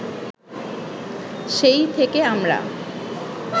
সেই থেকে আমরা